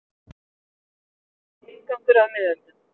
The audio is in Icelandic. Gunnar Karlsson: Inngangur að miðöldum.